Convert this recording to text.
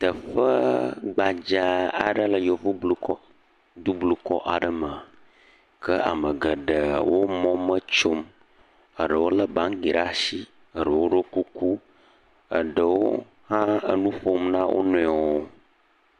Teƒe gbadzaa aɖee le Yevublukɔ, dublukɔ aɖe me. Ke ame geɖewo mɔme tsom. Eɖewo lé baŋgi ɖe ashi, eɖewo ɖɔ kuku. Eɖewo hã enu ƒom na wo nɔewo